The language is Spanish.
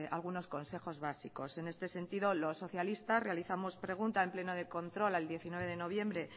algunos consejos básicos en este sentido los socialistas realizamos preguntas al pleno de control al diecinueve de noviembre